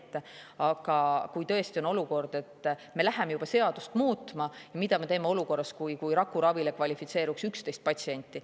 Aga tõesti olukord, kus me läheme juba seadust muutma,, mida me teeme olukorras, kus rakuravile kvalifitseeruks 11 patsienti.